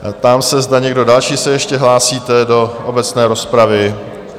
Ptám se, zda někdo další se ještě hlásíte do obecné rozpravy?